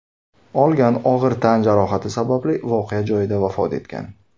olgan og‘ir tan jarohati sababli voqea joyida vafot etgan.